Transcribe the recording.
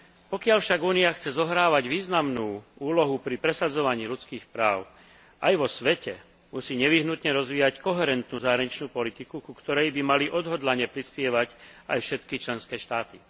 Pokiaľ však Únia chce zohrávať významnú úlohu pri presadzovaní ľudských práv aj vo svete, musí nevyhnutne rozvíjať koherentnú zahraničnú politiku, ku ktorej by mali odhodlane prispievať aj všetky členské štáty.